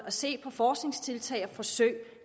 og se på forskningstiltag og forsøg